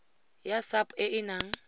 ya sap e e nang